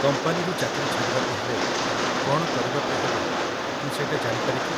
କମ୍ପାନୀରୁ ଚାକିରି ଛାଡ଼ିବାକୁ ହେଲେ କ'ଣ କରିବାକୁ ହେବ ମୁଁ ସେଇଟା ଜାଣିପାରେ କି?